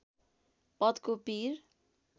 पदको पिर